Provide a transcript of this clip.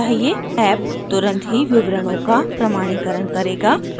app तुरंत ही विवरणों की प्रमाणीकरण करेगा